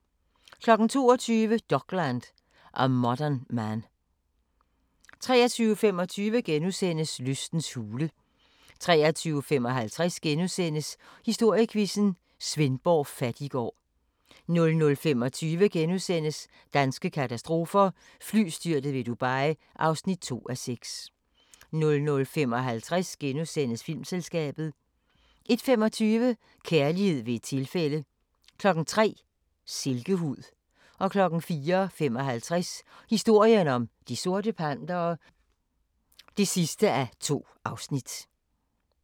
22:00: Dokland: A Modern Man 23:25: Lystens hule (4:4)* 23:55: Historiequizzen: Svendborg Fattiggård * 00:25: Danske katastrofer – Flystyrtet ved Dubai (2:6)* 00:55: Filmselskabet * 01:25: Kærlighed ved et tilfælde 03:00: Silkehud 04:55: Historien om De Sorte Pantere (2:2)